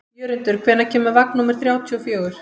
Jörundur, hvenær kemur vagn númer þrjátíu og fjögur?